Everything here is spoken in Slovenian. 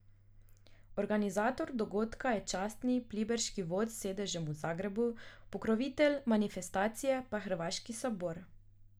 Organizator dogodka je Častni pliberški vod s sedežem v Zagrebu, pokrovitelj manifestacije pa hrvaški sabor.